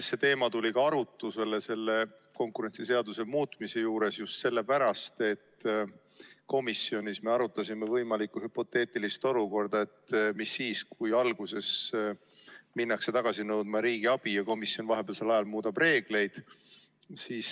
See teema tuli arutlusele konkurentsiseaduse muutmise juures just sellepärast, et me komisjonis arutasime hüpoteetilist olukorda, et mis saab siis, kui alguses minnakse riigiabi tagasi nõudma, aga komisjon otsustab vahepeal reegleid muuta.